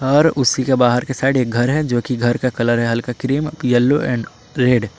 और उसी का बाहर साइड एक घर है जो कि घर का कलर हैं हल्का क्रीम येलो एंड रेड ।